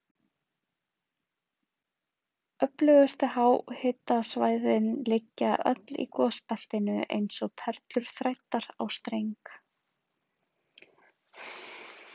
Öflugustu háhitasvæðin liggja öll í gosbeltinu eins og perlur þræddar á streng.